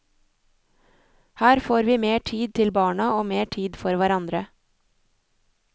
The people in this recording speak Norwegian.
Her får vi mer tid til barna og mer tid for hverandre.